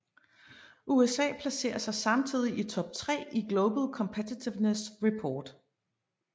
USA placerer sig samtidig i top tre i Global Competitiveness Report